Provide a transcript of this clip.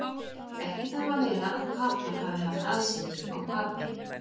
Ekki þarf að vera að Papar hafi haft aðsetur á Papey.